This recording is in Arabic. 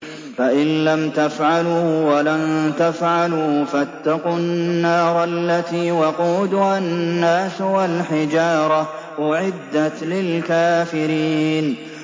فَإِن لَّمْ تَفْعَلُوا وَلَن تَفْعَلُوا فَاتَّقُوا النَّارَ الَّتِي وَقُودُهَا النَّاسُ وَالْحِجَارَةُ ۖ أُعِدَّتْ لِلْكَافِرِينَ